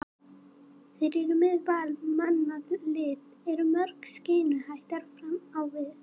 Þær eru með vel mannað lið, eru mjög skeinuhættar fram á við.